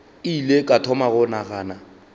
ile ka thoma go nagana